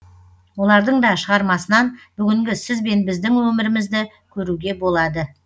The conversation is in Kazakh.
олардың да шығармасынан бүгінгі сіз бен біздің өмірімізді көруге болады